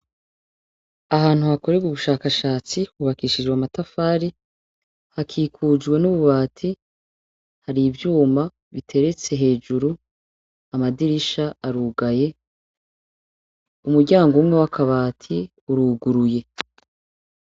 Ahantu hakorerwe ubushakashatsi hubakishijwe amatafari hakikujwe n'ububati hari ivyuma biteretse hejuru amadirisha arugaye umuryango umwe w'akabati uruguruye.